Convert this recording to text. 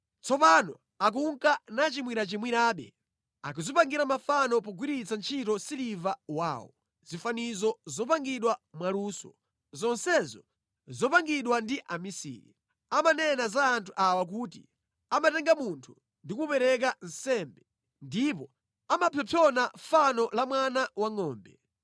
Tsopano akunka nachimwirachimwirabe; akudzipangira mafano pogwiritsa ntchito siliva wawo, zifanizo zopangidwa mwaluso, zonsezo zopangidwa ndi amisiri. Amanena za anthu awa kuti, “Amatenga munthu ndi kumupereka nsembe ndipo amapsompsona fano la mwana wangʼombe.”